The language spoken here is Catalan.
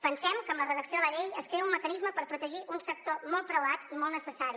pensem que amb la redacció de la llei es crea un mecanisme per protegir un sector molt preuat i molt necessari